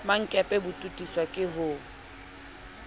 mmankepe bo totiswa ke ho